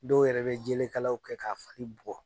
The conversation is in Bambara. Dɔw yɛrɛ bɛ jelekalaw kɛ k'a fari bugɔ.